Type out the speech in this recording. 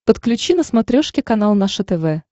подключи на смотрешке канал наше тв